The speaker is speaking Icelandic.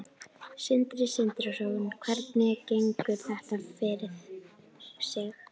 Sindri Sindrason: Hvernig gengur þetta fyrir sig?